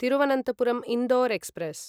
Thiruvananthapuram Indore express